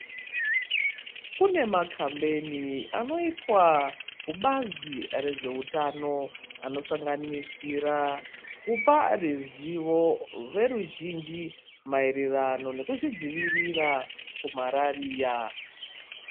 Kune makambeni anoitwa kubazi rezvehutano. Anosanganisira kupa ruzivo veruzhinji maererano nekuzvidzivirira kumarariya.